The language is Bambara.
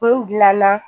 O dilanna